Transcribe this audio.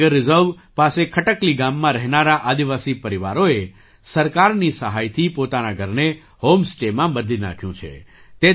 આ tiger reserve પાસે ખટકલી ગામમાં રહેનારા આદિવાસી પરિવારોએ સરકારની સહાયથી પોતાના ઘરને હૉમ સ્ટેમાં બદલી નાખ્યું છે